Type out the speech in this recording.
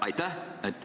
Aitäh!